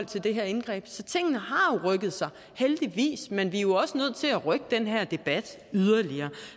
til det her indgreb så tingene har heldigvis men vi er jo også nødt til at rykke den her debat yderligere